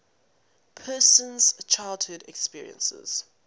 person's childhood experiences